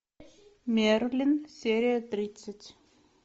мерлин серия тридцать